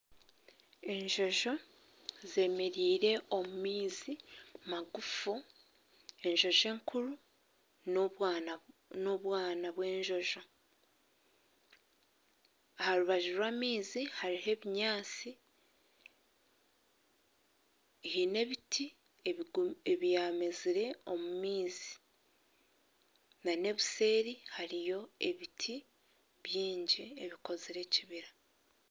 Enjonjo zemereire omu maizi magufu, enjonjo enkuru n'obwana bw'enjonjo. Aha rubaju rw'amaizi hariho ebinyaansi heine ebiti ebyamezire omu maizi nana obuseeri hariyo ebiti byingi ebikozire ekibira.